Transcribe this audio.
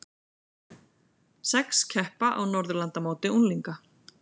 Sex keppa á Norðurlandamóti unglinga